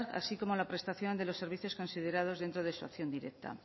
así como la prestación de los servicios considerados dentro de su acción directa